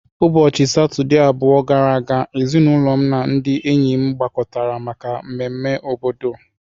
Ụbọchị Satọde abụọ gara aga, ezinụlọ m na ndị enyi m gbakọtara maka mmemme obodo.